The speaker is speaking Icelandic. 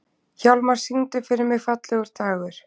Hjálmar, syngdu fyrir mig „Fallegur dagur“.